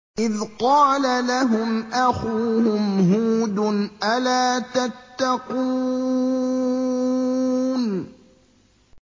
إِذْ قَالَ لَهُمْ أَخُوهُمْ هُودٌ أَلَا تَتَّقُونَ